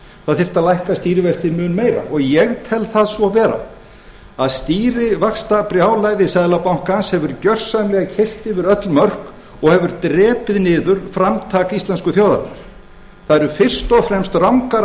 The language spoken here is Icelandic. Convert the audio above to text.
það þyrfti að lækka stýrivexti mun meira og ég tel það svo vera að stýrivaxtabrjálæði seðlabankans hefur gjörsamlega keyrt yfir öll mörk og hefur drepið niður framtak íslensku þjóðarinnar það eru fyrst og fremst rangar